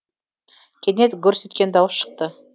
кенет гүрс еткен дауыс шықты